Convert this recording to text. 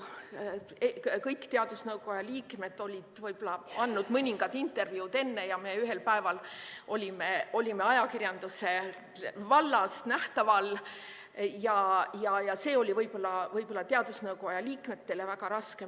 Kõik teadusnõukoja liikmed olid enne andnud mõningaid intervjuusid, aga ühel päeval me olime ajakirjanduse vallas nähtaval ja see oli võib-olla teadusnõukoja liikmetele väga raske.